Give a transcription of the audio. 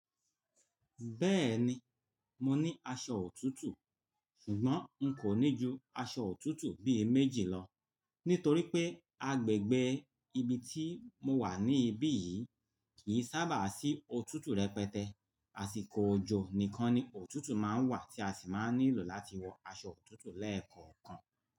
Bẹ́ẹ̀ni, mo ní aṣọ òtútù, ṣùgbọ́n n kò ní ju aṣọ òtútù bí i méjì lọ nítorí pé agbègbè ibi tí mo wà níbí yìí kì í sábà sí òtútù rẹpẹtẹ. Àsìkò òjò nìkan ni òtútù máa ń wà tí a sì máa ń nílò láti wọ aṣọ òtútù lẹ́ẹ̀kọ̀ọ̀kan.